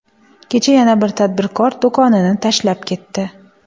Kecha yana bir tadbirkor do‘konini tashlab ketdi.